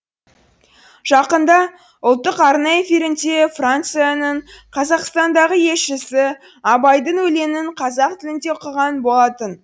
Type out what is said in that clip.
жақында ұлттық арна эфирінде францияның қазақстандағы елшісі абайдың өлеңін қазақ тілінде оқыған болатын